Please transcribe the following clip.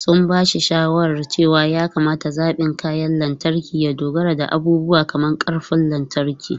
Sun ba shi shawarar cewa ya kamata zaɓin kayan lantarki ya dogara da abubuwa kamar ƙarfin lantarki.